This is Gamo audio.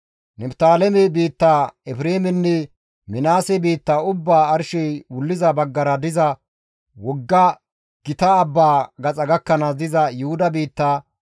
Niftaaleme biitta, Efreemenne Minaase biittaa ubbaa arshey wulliza baggara diza wogga gita abbaa gaxa gakkanaas diza Yuhuda biitta,